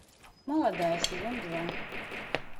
молодая сезон два